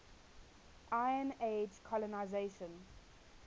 iron age colonisation